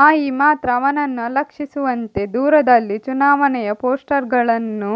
ಮಾಯಿ ಮಾತ್ರ ಅವನನ್ನು ಅಲಕ್ಷಿಸುವಂತೆ ದೂರದಲ್ಲಿ ಚುನಾವಣೆಯ ಪೋಸ್ಟರ್ಗಳನ್ನು